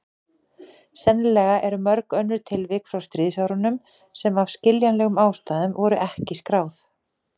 Sennilega eru mörg önnur tilvik frá stríðsárunum sem af skiljanlegum ástæðum voru ekki skráð.